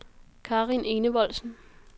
Karin Enevoldsen